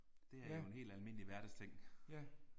Det er jo en helt almindelig hverdagsting